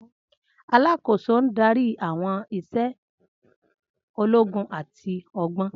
Alákòóso ń darí àwọn iṣẹ́ ológun àti ọgbọ́n.